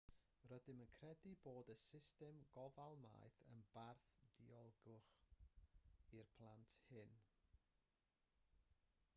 rydym yn credu bod y system gofal maeth yn barth diogelwch i'r plant hyn